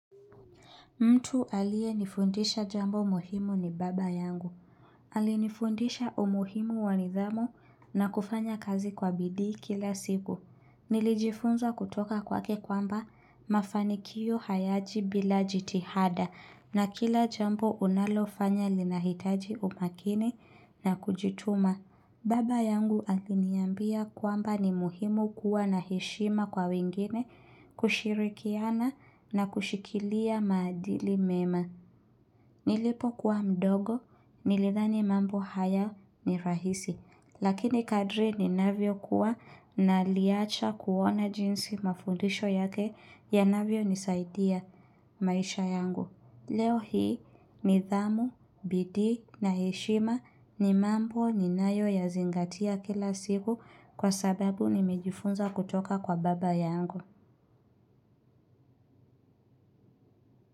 Mtu aliyenifundisha jambo muhimu ni baba yangu. Alinifundisha umuhimu wa nidhamu na kufanya kazi kwa bidii kila siku. Nilijifunza kutoka kwake kwamba mafanikio hayaji bila jitihada na kila jambo unalofanya linahitaji umakini na kujituma. Baba yangu aliniambia kwamba ni muhimu kuwa na heshima kwa wengine kushirikiana na kushikilia maadili mema. Nilipokuwa mdogo nilidhani mambo haya ni rahisi. Lakini kadri ni navyo kuwa na liacha kuona jinsi mafundisho yake ya navyonisaidia maisha yangu. Leo hii nidhamu, bidii na heshima ni mambo ninayo yazingatia kila siku kwa sababu nimejifunza kutoka kwa baba yangu.